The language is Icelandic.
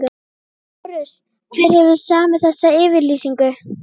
LÁRUS: Hver hefur samið þessa yfirlýsingu?